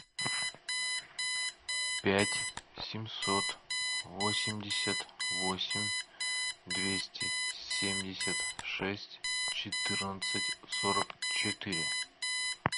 пять семьсот восемьдесят восемь двести семьдесят шесть четырнадцать сорок четыре